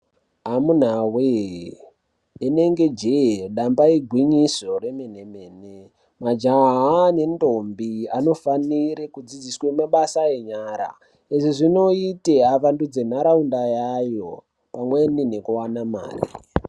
Amunawe inengejee damba igwinyiso remene mene majaha ngendombi anofanire kudzidziswe mabasa enyara izvi zvinoite vavandudze nharaunda yayo pamweni nekuwanda mare.